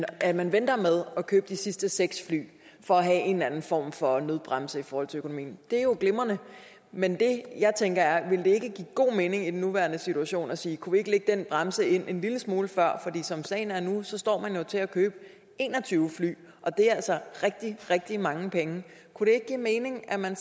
at man venter med at købe de sidste seks fly for at have en eller anden form for nødbremse i forhold til økonomien det er jo glimrende men det jeg tænker er ville give god mening i den nuværende situation at sige kunne vi ikke lægge den bremse ind en lille smule før som sagen er nu står man jo til at købe en og tyve fly og det er altså rigtig rigtig mange penge kunne det ikke give mening at man